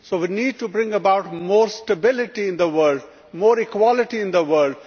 We need to bring about more stability and more equality in the world.